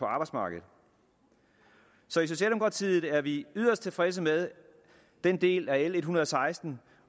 arbejdsmarkedet så i socialdemokratiet er vi yderst tilfredse med den del af l en hundrede og seksten